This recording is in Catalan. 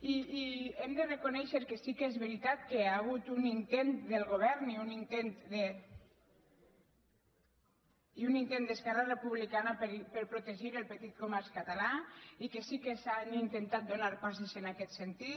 i hem de reconèixer que sí que és veritat que hi ha hagut un intent del govern i un intent d’esquerra republicana per protegir el petit comerç català i que sí que s’han intentat donar passes en aquest sentit